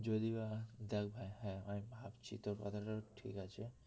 যদি বা দেখ ভাই হ্যাঁ আমি ভাবছি তোর কথাটা ঠিক আছে